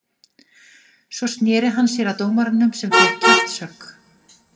Svo sneri hann sér að dómaranum sem fékk kjaftshögg.